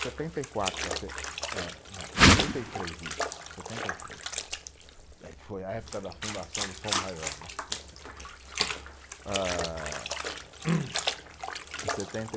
Setenta e quatro para se, eh né, setenta e três isso, setenta e três, eh que foi a época da fundação do Tom Maior, né, tom, ah, em setenta e